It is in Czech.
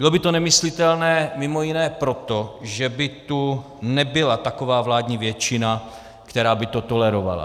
Bylo by to nemyslitelné mimo jiné proto, že by tu nebyla taková vládní většina, která by to tolerovala.